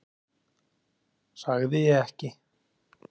Sagði ég ekki?